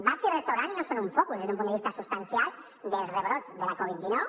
bars i restaurants no són un focus des d’un punt de vista substancial dels rebrots de la covid dinou